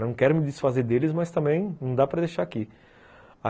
Não quero me desfazer deles, mas também não dá para deixar aqui.